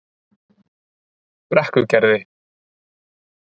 Brekkugerði